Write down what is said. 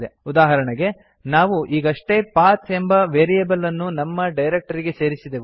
ಉದಾಹರಣೆಗೆ ನಾವು ಈಗಷ್ಟೇ ಪಥ್ ಎಂಬ ವೇರಿಯೇಬಲ್ ಅನ್ನು ನಮ್ಮ ಡೈರಕ್ಟರಿಗೆ ಸೇರಿಸಿದೆವು